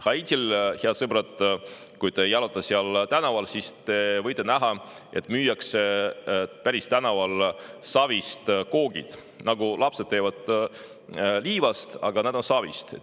Kui te, head sõbrad, jalutate Haitil tänaval, siis te võite näha, et tänaval müüakse savist kooke, selliseid, nagu lapsed teevad liivast, aga need on savist.